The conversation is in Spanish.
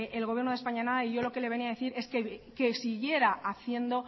el gobierno de españa nada y yo lo que le venía a decir es que siguiera haciendo